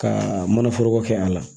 Ka mana foroko kɛ a la